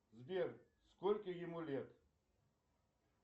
сбер сколько ему лет